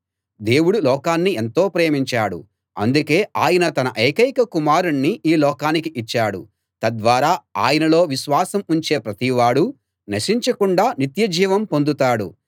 దేవుడు లోకాన్ని ఎంతో ప్రేమించాడు అందుకే ఆయన తన ఏకైక కుమారుణ్ణి ఈ లోకానికి ఇచ్చాడు తద్వారా ఆయనలో విశ్వాసం ఉంచే ప్రతి వాడూ నశించకుండా నిత్యజీవం పొందుతాడు